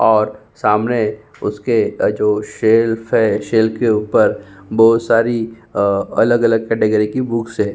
और सामने उसके अ जो सेल्फ है सेल के ऊपर बोहोत सारी अ अलग-अलग केटेगरी की बुक्स हैं।